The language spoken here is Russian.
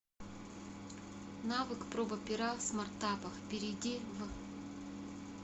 навык проба пера в смартапах перейди в